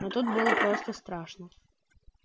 но тут было просто страшно